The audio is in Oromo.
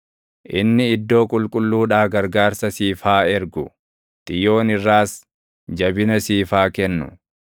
Inni iddoo qulqulluudhaa gargaarsa siif haa ergu; Xiyoon irraas jabina siif haa kennu.